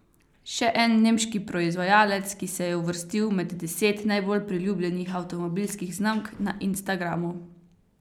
Še en nemški proizvajalec, ki se je uvrstil med deset najbolj priljubljenih avtomobilskih znamk na Instagramu.